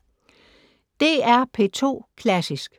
DR P2 Klassisk